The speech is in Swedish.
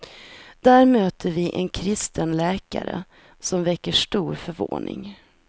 Där möter vi en kristen läkare, som väcker stor förvåning.